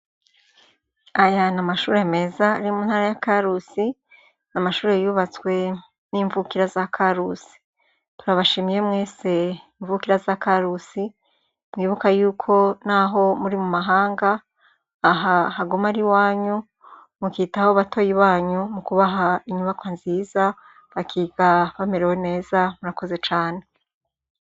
Aya n'amashure meza ari mu ntara ya Karusi, n'mashuri yubatswe n'imvukira za Karusi, turabashimiye mwese imvukira za Karusi mwibuka yuko naho muri mu mahanga, aha haguma ari iwanyu mukitaho batoyi banyu mu kubaha inyubakwa nziza bakiga bamerewe neza murakoze cane.